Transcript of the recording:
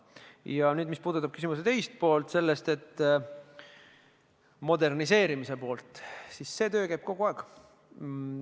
Ja mis puudutab küsimuse teist poolt, moderniseerimist, siis see töö käib kogu aeg.